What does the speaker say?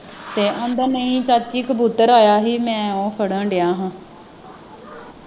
ਤੇ ਆਂਦਾ ਨਹੀਂ ਚਾਚੀ ਕਬੂਤਰ ਆਇਆ ਹੀ ਮੈਂ ਫੜਨ ਦਿਆ ਹਾਂ।